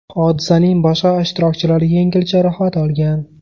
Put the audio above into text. Hodisaning boshqa ishtirokchilari yengil jarohat olgan.